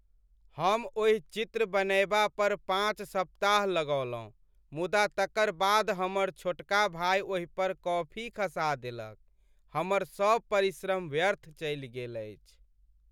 हम ओहि चित्र बनयबा पर पाँच सप्ताह लगौलहुँ मुदा तकर बाद हमर छोटका भाय ओहि पर कॉफी खसा देलक। हमर सब परिश्रम व्यर्थ चलि गेल अछि।